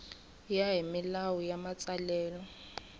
ya hi milawu ya matsalelo